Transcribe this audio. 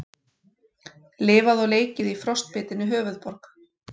Lifað og leikið í frostbitinni höfuðborg